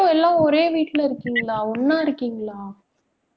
இப்பவும் எல்லாம் ஒரே வீட்டுல இருக்கீங்களா ஒண்ணா இருக்கீங்களா